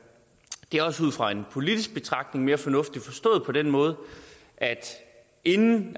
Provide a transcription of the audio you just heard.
er også ud fra en politisk betragtning mere fornuftigt forstået på den måde at inden